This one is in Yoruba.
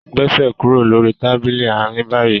Gbèsè kúrò lórí Tábìlì Àárín bayí!